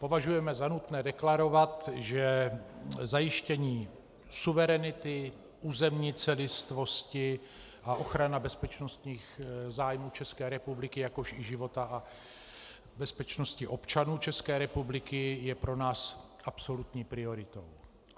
Považujeme za nutné deklarovat, že zajištění suverenity, územní celistvosti a ochrana bezpečnostních zájmů České republiky, jakož i života a bezpečnosti občanů České republiky je pro nás absolutní prioritou.